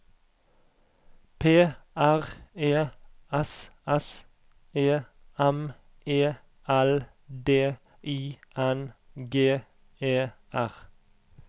P R E S S E M E L D I N G E R